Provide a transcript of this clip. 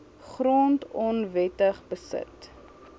grond onwettig beset